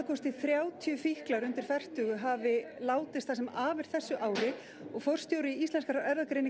þrjátíu fíklar undir fertugu hafa látist það sem af er þessu ári og forstjóri Íslenskrar